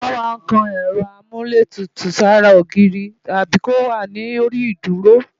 Wọ́n máa ń kan Ẹ̀rọ Amúlétutù sára ogiiri tàbí kó wà lórí ìdúró